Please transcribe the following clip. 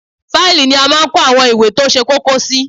Fáìlì ni a máa ń kó àwọn ìwé tó ṣe kókó sí